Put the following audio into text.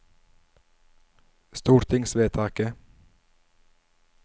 stortingsvedtaket